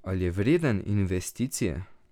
Ali je vreden investicije?